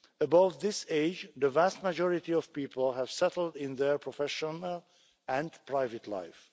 Above this age, the vast majority of people have settled in their professional and private life.